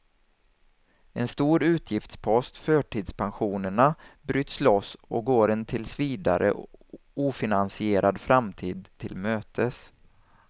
En stor utgiftspost, förtidspensionerna, bryts loss och går en tills vidare ofinansierad framtid till mötes.